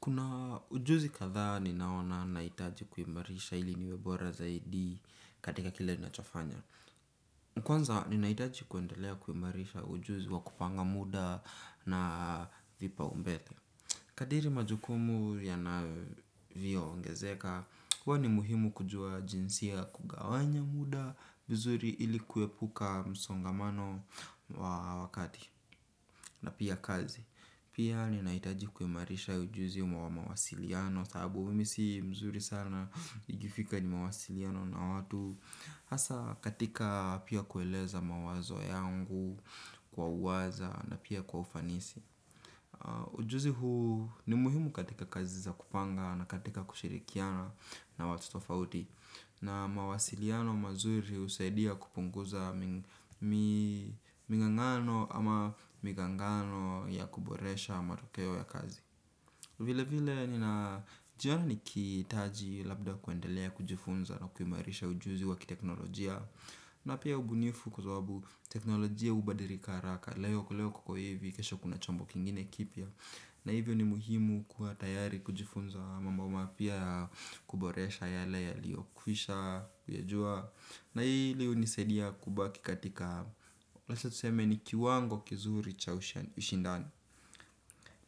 Kuna ujuzi katha ni naona naitaji kuimarisha ili niwebora zaidi katika kile nachofanya. Kwanza nina itaji kuendelea kuimarisha ujuzi wa kupanga muda na vipa umbete. Kadiri majukumu yana vio ongezeka, kwani muhimu kujua jinsia kugawanya muda, vizuri ili kuepuka msongamano wa wakati na pia kazi. Pia nina itaji kuimarisha ujuzi umawama wasiliano, sabu mi si mzuri sana igifika ni mawasiliano na watu hasa katika pia kueleza mawazo yangu kwa uaza na pia kwa ufanisi ujuzi huu ni muhimu katika kazi za kupanga na katika kushirikiana na watu tofauti na mawasiliano mazuri usaidia kupunguza ming'angano ama migangano ya kuboresha matokeo ya kazi. Vile vile nina jiona nikitaji labda kuendelea kujifunza na kumarisha ujuzi wakiteknolojia. Na pia ubunifu kuazababu teknolojia ubadirika haraka. Leo kuleo koko hivi kesho kuna chombo kingine kipia. Na hivyo ni muhimu kua tayari kujifunza. Mambo mapia kuboresha yale yalio kuisha kuyajua. Na hilihunisaidia kubaki katika wacha tuseme ni kiwango kizuri cha ushindani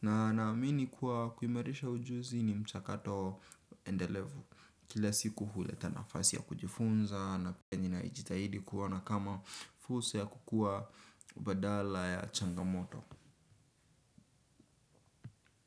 na naamini kua kuimarisha ujuzi ni mchakato endelevu kila siku huleta nafasi ya kujifunza naninajitahidi kuona kama fursa ya kukua badala ya changamoto.